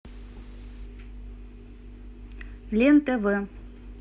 лен тв